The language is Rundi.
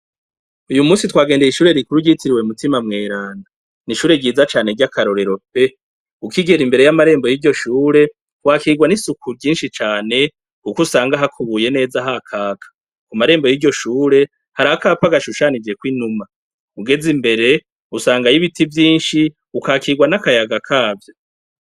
Uyu munsi twagendeye ishure rikuru ryitiriwe mutima mweranda, n'ishure ryiza cane ry'akarorero pe, ukigera imbere y'amarembo y'iryo shure wakigwa n'isuku ryinshi cane kuko usanga hakubuye neza hakaka, mu marembo y'iryo shure harakapa gashushanijekwo inuma, ugeze imbere usangayo ibiti vyinshi ukakigwa n'akayaga kavyo.